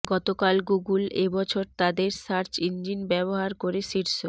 গতকাল গুগল এ বছর তাদের সার্চ ইঞ্জিন ব্যবহার করে শীর্ষ